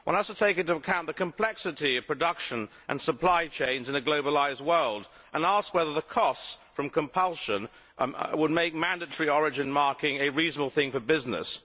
One has to take into account the complexity of production and supply chains in a globalised world and ask whether the costs from compulsion would make mandatory origin marking a reasonable thing for business.